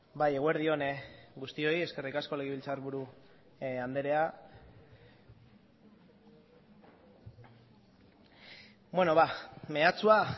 bai eguerdi on guztioi eskerrik asko legebiltzarburu andrea bueno ba meatsua